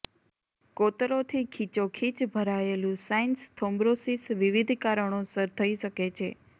કોતરોથી ખીચોખીચ ભરાયેલું sinus thrombosis વિવિધ કારણોસર થઇ શકે છે